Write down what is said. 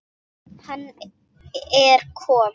Hann er kom